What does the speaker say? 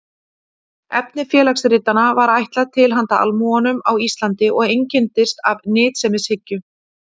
efni félagsritanna var ætlað „til handa almúganum á íslandi“ og einkenndist af nytsemishyggju